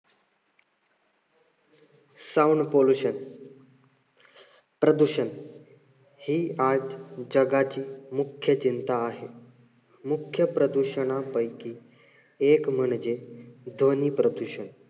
Sound pollution प्रदूषण हे आज जगाची मुख्य चिंता आहे. मुख्य प्रदूषणांपैकी एक म्हणजे ध्वनी प्रदूषण.